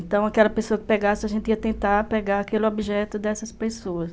Então, aquela pessoa que pegasse, a gente ia tentar pegar aquele objeto dessas pessoas.